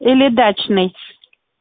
или дачный